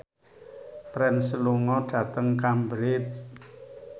Prince lunga dhateng Cambridge